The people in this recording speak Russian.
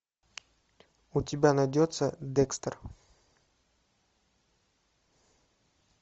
у тебя найдется декстер